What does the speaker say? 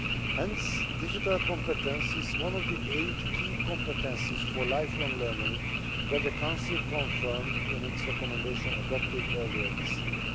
Hence, digital competence is one of the eight key competences for lifelong learning that the Council confirmed in its recommendation adopted earlier this year.